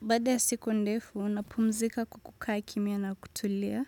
Baada ya siku ndefu, napumzika kwa kukaa kimya na kutulia.